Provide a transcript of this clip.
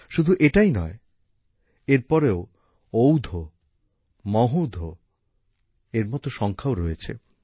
শুধু এটাই নয় এরপরেও ঔধ মহোধের মত সংখ্যাও রয়েছে